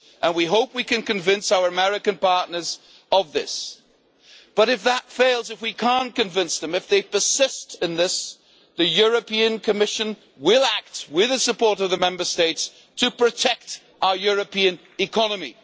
We hope we can convince our American partners of this, but if that fails, if we cannot convince them and they persist in this, the Commission will act with the support of the Member States to protect our European economy.